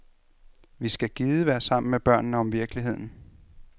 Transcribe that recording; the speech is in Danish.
Vi skal gide være sammen med børnene om virkeligheden.